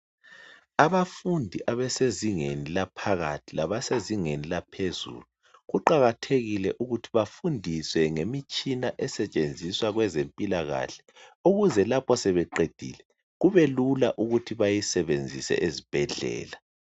Abafundi abasezingeni laphakathi, labasezingeni eliphezulu. Kuqakathekile ukuthi bafundiswe ngemitshina esentshenziswa kwenzempilakahle. Ukuze lapho sebeqedile kubelula ukuthi bayisebenzise ezibhedlela.